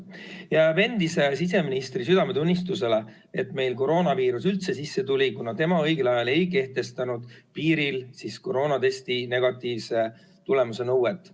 Jääb endise siseministri südametunnistusele, et meil koroonaviirus üldse sisse tuli, kuna tema õigel ajal ei kehtestanud piiril koroonatesti negatiivse tulemuse nõuet.